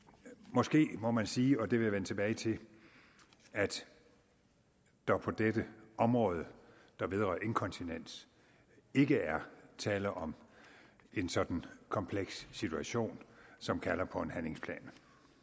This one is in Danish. måske må man sige og det vil jeg vende tilbage til at der på dette område der vedrører inkontinens ikke er tale om en sådan kompleks situation som kalder på en handlingsplan